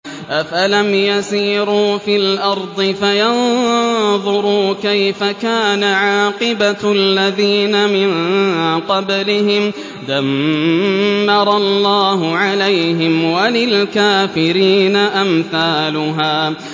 ۞ أَفَلَمْ يَسِيرُوا فِي الْأَرْضِ فَيَنظُرُوا كَيْفَ كَانَ عَاقِبَةُ الَّذِينَ مِن قَبْلِهِمْ ۚ دَمَّرَ اللَّهُ عَلَيْهِمْ ۖ وَلِلْكَافِرِينَ أَمْثَالُهَا